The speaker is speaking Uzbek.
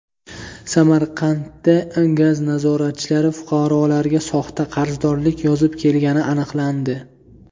Samarqandda gaz nazoratchilari fuqarolarga soxta qarzdorlik yozib kelgani aniqlandi.